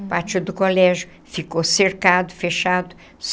O pátio do colégio ficou cercado, fechado.